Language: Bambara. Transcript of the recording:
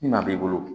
Ni maa b'i bolo